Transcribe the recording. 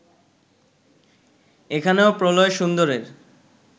এখানেও প্রলয়-সুন্দরের